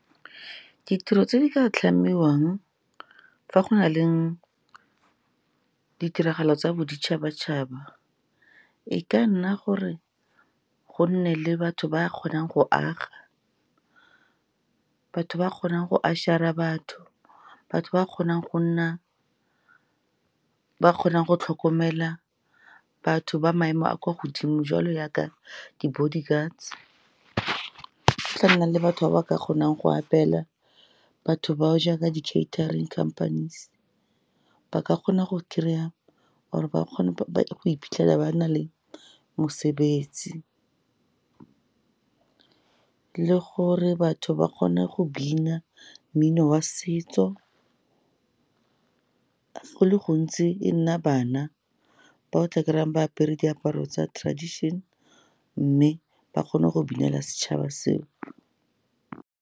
Ditiro tse di ka tlhamiwang fa go na leng ditiragalo tsa boditšhabatšhaba, e ka nna gore gonne le batho ba kgonang go aga, batho ba kgonang go usher-a batho, batho ba kgonang go nna, ba kgonang go tlhokomela batho ba maemo a kwa godimo, jwalo jaaka di-body guards, go tla nna le batho ba ba ka kgonang go apela batho bao, jaaka di-catering companies, ba ka kgona go kry-a or ba kgone go ipitlhela ba na le mosebetsi. Le gore batho ba kgone go bina mmino wa setso, go le gontsi e nna bana, ba o tla kry-ang ba apere diaparo tsa tradition, mme ba kgone go binela setšhaba seo.